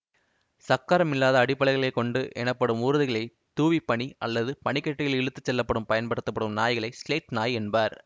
சக்கரம் இல்லாத அடிப்பலகைகளைக் கொண்ட எனப்படும் ஊர்திகளைத் தூவிப்பனி அல்லது பனிக்கட்டியில் இழுத்து செல்ல பயன்படுத்தப்படும் நாய்களை சிலெட் நாய் என்பர்